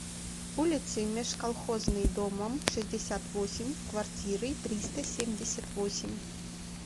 улицей межколхозной домом шестьдесят восемь в квартирой триста семьдесят восемь